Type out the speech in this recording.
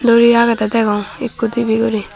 duri agede degong ekku dibe guri.